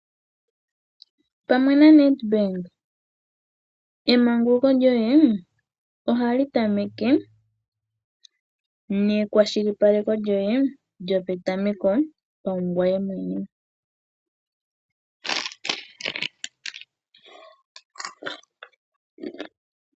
Pamwe naNedbank emanguluko lyoye ohali tameke nekwashilipaleko lyoye lyo petameko paungoye mwene.